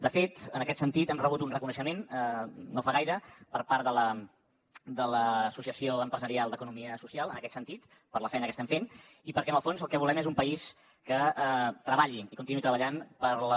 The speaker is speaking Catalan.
de fet en aquest sentit hem rebut un reconeixement no fa gaire per part de l’associació empresarial d’economia social en aquest sentit per la feina que estem fent i perquè en el fons el que volem és un país que treballi i continuï treballant per la